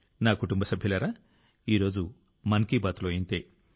నా కుటుంబ సభ్యులారా ఈ రోజు మన్ కీ బాత్లో ఇంతే